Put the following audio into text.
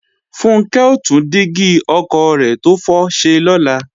Funkẹ́ ó tún dígí ọkọ̀ rẹ̀ tó fọ́ ṣe lọ́la